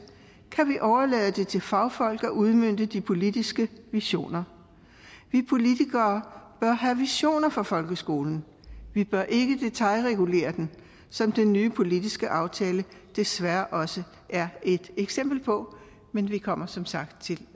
kan vi overlade det til fagfolk at udmønte de politiske visioner vi politikere bør have visioner for folkeskolen vi bør ikke detailregulere den som den nye politiske aftale desværre også er et eksempel på men vi kommer som sagt til